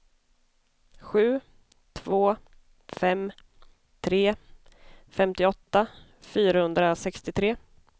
sju två fem tre femtioåtta fyrahundrasextiotre